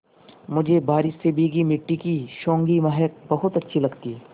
मुझे बारिश से भीगी मिट्टी की सौंधी महक बहुत अच्छी लगती है